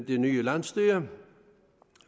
det nye landsstyre